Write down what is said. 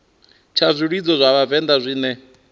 tsha zwilidzo zwa vhavenḓa zwine